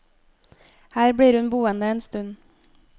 Her blir hun boende en stund.